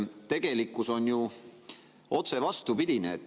Tegelikkus on ju otse vastupidine.